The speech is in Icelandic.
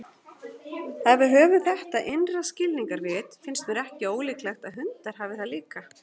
Ef við höfum þetta innra skilningarvit, finnst mér ekki ólíklegt að hundar hafi það líka.